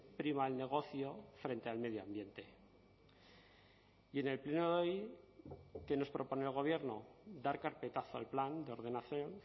prima el negocio frente al medio ambiente y en el pleno de hoy qué nos propone el gobierno dar carpetazo al plan de ordenación